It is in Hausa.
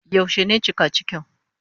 Yaushe ne cika cikin?